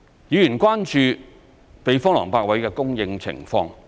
議員關注避風塘泊位的供應情況。